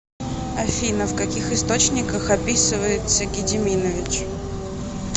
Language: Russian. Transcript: афина в каких источниках описывается гедиминович